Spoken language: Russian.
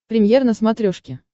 премьер на смотрешке